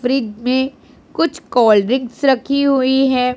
Fridge में कुछ cold drinks रखी हुई है।